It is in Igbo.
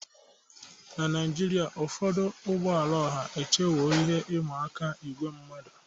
Na Naijiria, ụfọdụ ụgbọ ala ọha echewo ihe ịma aka ígwè mmadu.